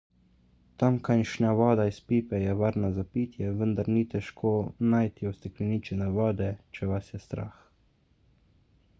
tamkajšnja voda iz pipe je varna za pitje vendar ni težko najti ustekleničene vode če vas je strah